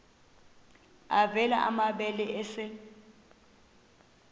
avela amabele esel